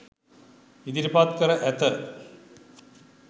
ඉදිරිපත් කර ඇත.